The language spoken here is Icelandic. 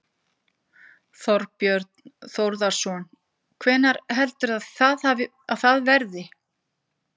Þorbjörn Þórðarson: Hvenær heldurðu að það verði?